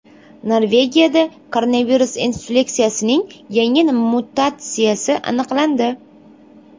Norvegiyada koronavirus infeksiyasining yangi mutatsiyasi aniqlandi.